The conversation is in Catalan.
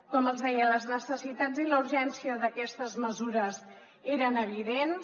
com els deia les necessitats i la urgència d’aquestes mesures eren evidents